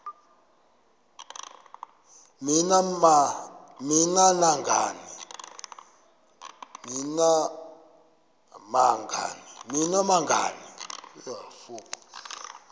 ni nam nangani